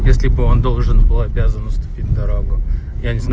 если бы он должен был обязан уступить дорогу я не знаю